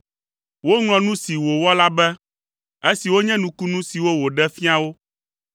Woŋlɔ nu si wòwɔ la be, esiwo nye nukunu siwo wòɖe fia wo.